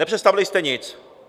Nepředstavili jste nic!